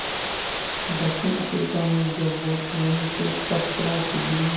दक्षिण अफ्रीका में जब वो ट्रेन के फर्स्ट क्लास डिब्बे में